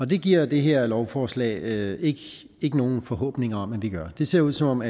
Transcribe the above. det giver det her lovforslag ikke ikke nogen forhåbninger om at vi gør det ser ud som